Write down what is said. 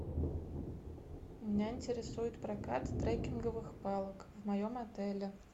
меня интересует прокат трекинговых палок в моем отеле